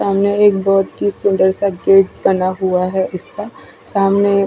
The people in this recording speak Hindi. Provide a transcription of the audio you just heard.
सामने एक बोहोत ही सुन्दर सा गेट बना हुआ है इसका सामने एक--